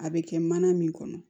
A bɛ kɛ mana min kɔnɔ